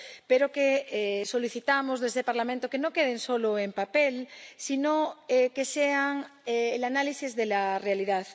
pero solicitamos a este Parlamento que no queden solo en papel, sino que sean el análisis de la realidad.